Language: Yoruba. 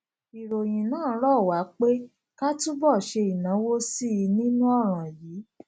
ìròyìn náà rọ wá pé ká túbò ṣe ìnáwó sí i nínú òràn yìí